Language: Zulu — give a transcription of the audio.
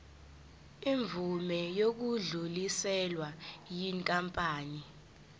imvume yokudluliselwa yinkampani